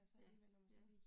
Ja. Ja